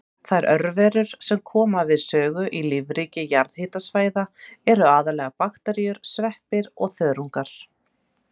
Þær örverur sem koma við sögu í lífríki jarðhitasvæða eru aðallega bakteríur, sveppir og þörungar.